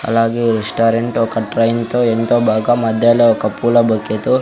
అలాగే రెస్టారెంట్ ఒక ట్రైన్తో ఎంతో బాగా మధ్యలో ఒక పూల బొకేతో --